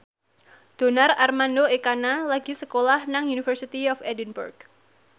Donar Armando Ekana lagi sekolah nang University of Edinburgh